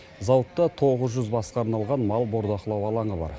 зауытта тоғыз жүз басқа арналған мал бордақылау алаңы бар